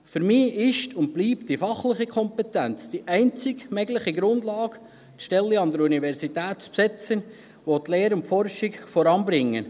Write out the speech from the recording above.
Für mich ist und bleibt die fachliche Kompetenz die einzig mögliche Grundlage, die Stellen an der Universität zu besetzen, die auch die Lehre und die Forschung voranbringen.